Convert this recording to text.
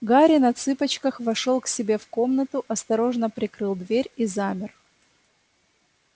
гарри на цыпочках вошёл к себе в комнату осторожно прикрыл дверь и замер